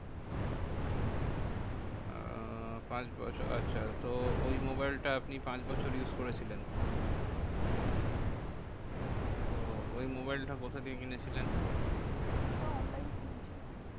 আহ পাঁচ বছর আচ্ছা তো ওই মোবাইল টা আপনি পাঁচ বছর use করেছিলেন? হম তো ওই মোবাইলটা কথা দিয়ে কিনেছিলেন? ওটা online কিনেছিলাম।